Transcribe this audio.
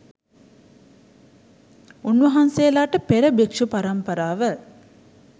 උන්වහන්සේලාට පෙර භික්ෂු පරම්පරාව